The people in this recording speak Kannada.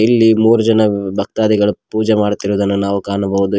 ಇಲ್ಲಿ ಮೂರು ತಿಂಗಳ ಭಕ್ತಾದಿಗಳು ಪೂಜೆ ಮಾಡುತ್ತಿರುವುದನ್ನು ನಾವು ಕಾಣಬಹುದು ಈ--